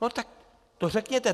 No tak to řekněte.